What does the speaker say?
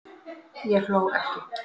Ég hló ekki